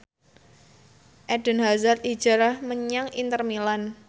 Eden Hazard hijrah menyang Inter Milan